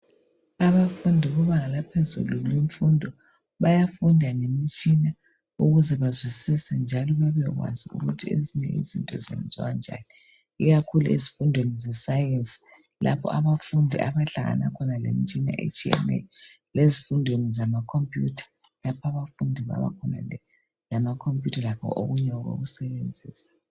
Abafundi bebanga laphezulu lwemfundo bayafunda ngemitshina ukuze bazwisise njalo bebekwazi ukuthi ezinye izinto zenziwa njani ikakhulu ezifundweni zesayensi lapha abafundi abahlangana khona lemitshina etshiyeneyo lezifundweni zamakhophuyutha lapha abafundi ababa khona lamakhomphuyutha lakho okunye okokusebenzisa.